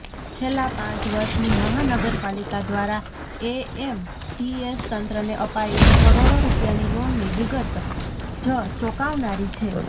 છેલ્લાં પાંચ વર્ષની માહાનગરપાલિકા દ્વારા એએમટીએસ તંત્રને અપાયેલી કરોડો રૂપિયાની લોનની વિગત જ ચોંકાવનારી છે